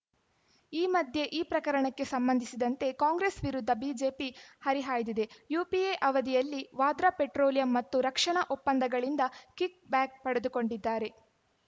ಈ ಮಧ್ಯೆ ಈ ಪ್ರಕರಣಕ್ಕೆ ಸಂಬಂಧಿಸಿದಂತೆ ಕಾಂಗ್ರೆಸ್‌ ವಿರುದ್ಧ ಬಿಜೆಪಿ ಹರಿಹಾಯ್ದಿದೆ ಯುಪಿಎ ಅವಧಿಯಲ್ಲಿ ವಾದ್ರಾ ಪೆಟ್ರೋಲಿಯಂ ಮತ್ತು ರಕ್ಷಣಾ ಒಪ್ಪಂದಗಳಿಂದ ಕಿಕ್‌ ಬ್ಯಾಕ್‌ ಪಡೆದುಕೊಂಡಿದ್ದಾರೆ